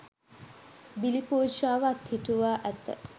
බිලි පූජාව අත්හිටුවා ඇත.